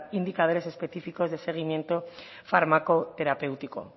indicadores específicos de seguimiento fármaco terapéutico